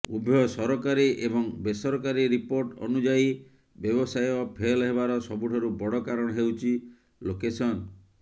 ଉଭୟ ସରକାରୀ ଏବଂ ବେସରକାରୀ ରିପୋର୍ଟ ଅନୁଯାୟୀ ବ୍ୟବସାୟ ଫେଲ୍ ହେବାର ସବୁଠାରୁ ବଡ଼ କାରଣ ହେଉଛି ଲୋକେସନ୍